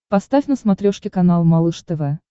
поставь на смотрешке канал малыш тв